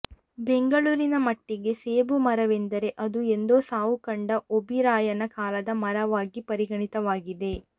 ಬೆಂಗಳೂರಿನ ಮಟ್ಟಿಗೆ ಸೇಬು ಮರವೆಂದರೆ ಅದು ಎಂದೋ ಸಾವು ಕಂಡ ಓಬೀರಾಯನ ಕಾಲದ ಮರವಾಗಿ ಪರಿಗಣಿತವಾಗಿದೆ